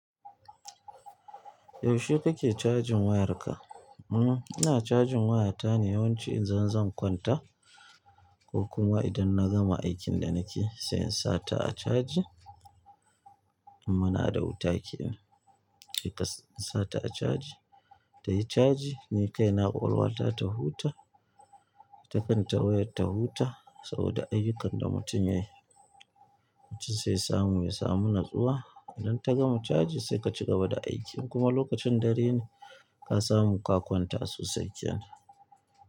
Yaushe kake cajin wayarka? Mhm ina cajin waya ta ne yawanci idan zan kwanta ko kuma idan na gama aikin da nake sai in sa ta a caji. Idan muna da wuta kenan na sa ta a caji, tayi caji ni kai na ƙwaƙwalwata ta huta, ita kanta wayar ta huta saboda ayyukan da mutum yayi wacce zai samu ya samu natsuwa. Idan ta gama caji sai ka cigaba da aikin kuma lokacin dare ne ka samu ka kwanta sosai kenan.